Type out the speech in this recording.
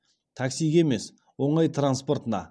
таксиге емес оңай транспортына